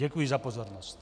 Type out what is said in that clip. Děkuji za pozornost.